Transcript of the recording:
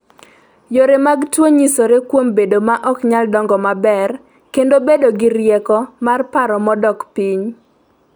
Yore mag tuo nyisore kuom bedo ma ok nyal dongo maber kendo bedo gi rieko mar paro modok piny.